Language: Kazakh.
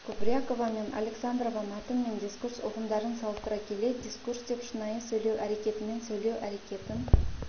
кубрякова мен александрова мәтін мен дискурс ұғымдарын салыстыра келе дискурс деп шынайы сөйлеу әрекетімен сөйлеу әрекетін